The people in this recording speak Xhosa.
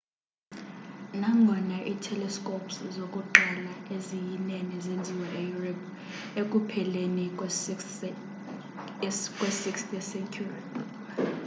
nangona i-telescopes zokuqala eziyinene zenziwa e-europe ekupheleni kwe 16th ye-century